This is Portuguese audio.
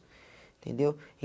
Entendeu?